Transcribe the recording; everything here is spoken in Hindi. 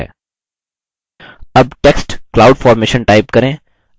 अब text cloud formation type करें